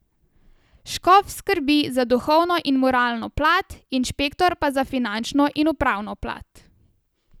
Škof skrbi za duhovno in moralno plat, inšpektor pa za finančno in upravno plat.